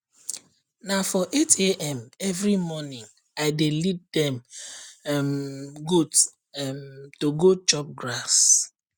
na for 8am every morning i dey lead dem um goat um to go chop grass